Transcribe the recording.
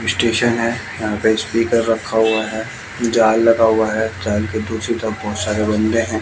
Station हैं। यहां पे स्पीकर रखा हुआ हैं। जाल लगा हुआ है। जाल के पीछे बहोत सारे बंदे है।